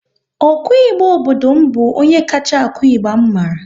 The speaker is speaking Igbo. Ọ ku ịgba obodo m bụ onye kacha akụ ịgba m mara